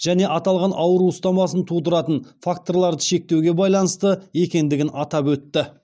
және аталған ауру ұстамасын тудыратын факторларды шектеуге байланысты екендігін атап өтті